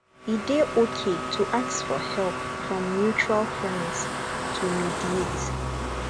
e dey okay to ask for help from mutual friends to mediate